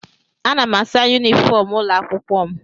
Ana m asa yunifọm ụlọ akwụkwọ m